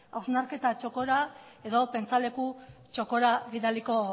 hausnarketa txokora edo pentsaleku txokora bidaliko